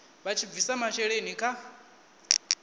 vha tshi bvisa masheleni kha